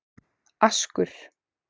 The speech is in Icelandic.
Askur